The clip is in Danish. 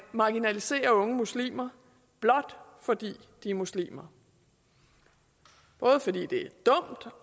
marginalisere unge muslimer blot fordi de er muslimer både fordi det er dumt